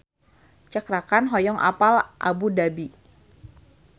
Cakra Khan hoyong apal Abu Dhabi